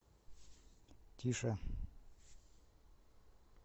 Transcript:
тише